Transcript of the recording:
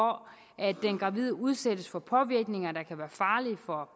at den gravide udsættes for påvirkninger der kan være farlige for